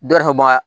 Dɔ yɛrɛ ka baga